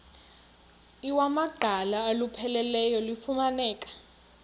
iwamaqhalo olupheleleyo lufumaneka